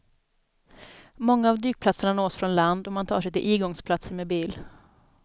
Många av dykplatserna nås från land och man tar sig till igångsplatsen med bil.